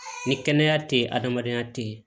Ni kɛnɛya teyi adamadenya te yen